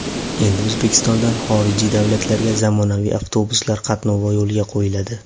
Endi O‘zbekistondan xorijiy davlatlarga zamonaviy avtobuslar qatnovi yo‘lga qo‘yiladi.